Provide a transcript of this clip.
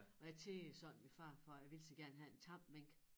Og jeg tiggede sådan min far for jeg ville så gerne have en tam mink